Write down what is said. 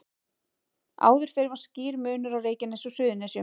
Áður fyrr var skýr munur á Reykjanesi og Suðurnesjum.